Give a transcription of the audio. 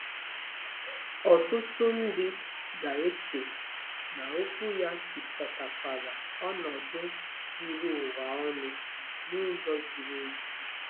Ọtụtụ ndị ga-eche na okwu ya chịkọtakwara ọnọdụ zuru ụwa ọnụ n'ụzọ ziri ezi.